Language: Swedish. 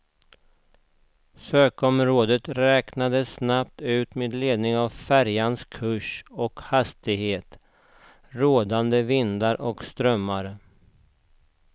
Sökområdet räknades snabbt ut med ledning av färjans kurs och hastighet, rådande vindar och strömmar.